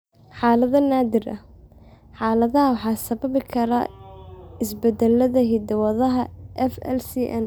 Xaalado naadir ah, xaaladda waxaa sababi kara isbeddellada hidda-wadaha FLCN.